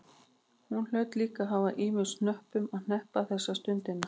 Hún hlaut líka að hafa ýmsum hnöppum að hneppa þessa stundina.